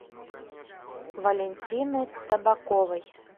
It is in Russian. валентины табаковой